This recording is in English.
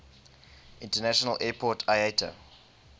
international airport iata